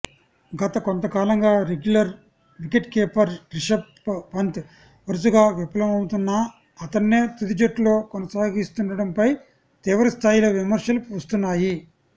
గతకొంతకాలంగా regular wicket keeper Rishabh Pant వరుసగా విఫలమవుతున్నా అతడ్నే తుదిజట్టులో కొనసాగిస్తుండడంపై తీవ్రస్థాయిలో విమర్శలు వస్తున్నాయి